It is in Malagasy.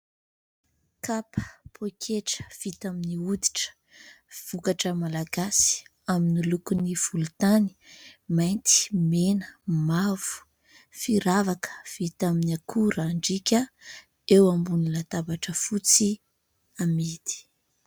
Kapa, poketra vita amin'ny hoditra. Vokatra malagasy amin'ny lokon'ny : volontany, mainty, mena, mavo. Firavaka vita amin'ny akorandriaka eo ambonin'ny latabatra fotsy amidy.